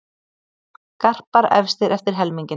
Garpar efstir eftir helminginn